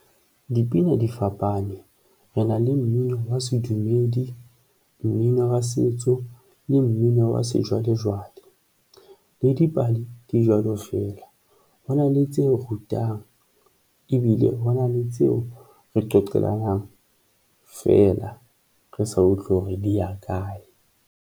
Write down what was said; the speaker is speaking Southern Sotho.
Dipina di fapane re na le mmino wa sedumedi, mmino wa setso le mmino wa sejwalejwale le dipale di jwalo feela, hona le tse rutang ebile hona le tseo re qoqelang fela. Re sa utlwe hore di ya kae.